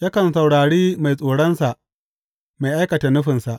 Yakan saurari mai tsoronsa mai aikata nufinsa.